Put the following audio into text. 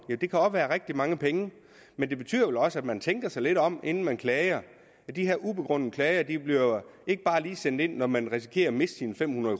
det kan godt være rigtig mange penge men det betyder vel også at man tænker sig lidt om inden man klager de her ubegrundede klager bliver ikke bare lige sendt ind når man risikerer at miste sine fem hundrede